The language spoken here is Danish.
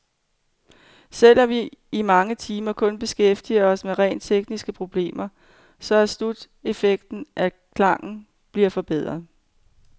Selv om vi i mange timer kun beskæftiger os med rent tekniske problemer, så er sluteffekten, at klangen bliver forbedret.